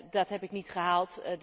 Dat heb ik niet gehaald.